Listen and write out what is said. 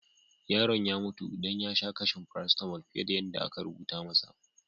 Yaron ya mutu dan ya sa kashin parasitamul fiyar da aka rubuta masa.